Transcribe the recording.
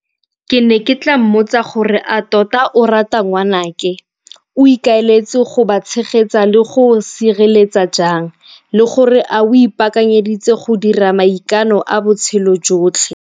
Ke ne ke tla mmotsa gore a tota o rata ngwanake, o ikaeletse go ba tshegetsa le go sireletsa jang le gore a o ipaakanyeditse go dira maikano a botshelo jotlhe?